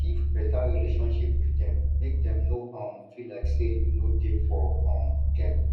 keep better relationship with dem make dem no um feel like sey you no dey for um dem